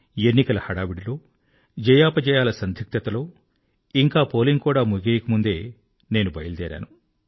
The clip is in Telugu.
ఎన్నికల హడావిడిలో జయాపజయాల సందిగ్ధతలో ఇంకా పోలింగ్ కూడా ముగియకముందే నేను బయల్దేరాను